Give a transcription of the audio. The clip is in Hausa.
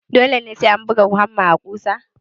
Dole sai ka buga hamma a ƙusa?